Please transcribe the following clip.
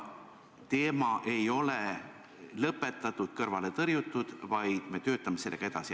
Teema ei ole lõpetatud ega kõrvale tõrjutud, vaid me töötame sellega edasi.